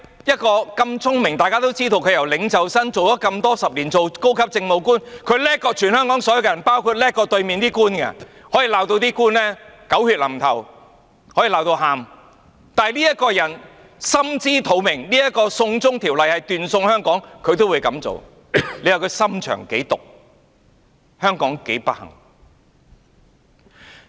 一個如此聰明的人，眾所周知，她由領袖生到做了數十年高級政務官，她比全香港人都聰明、比對面這些官員都聰明，她可以把官員罵得狗血淋頭、把他們罵到哭，但這個人心知肚明"送中條例"會斷送香港，她也這樣做，你說她的心腸有多毒，香港有多不幸？